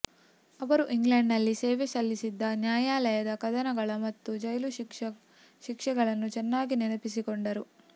ಅವರು ಇಂಗ್ಲೆಂಡ್ನಲ್ಲಿ ಸೇವೆ ಸಲ್ಲಿಸಿದ್ದ ನ್ಯಾಯಾಲಯದ ಕದನಗಳ ಮತ್ತು ಜೈಲು ಶಿಕ್ಷೆಗಳನ್ನು ಚೆನ್ನಾಗಿ ನೆನಪಿಸಿಕೊಂಡರು